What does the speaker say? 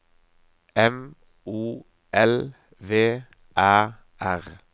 M O L V Æ R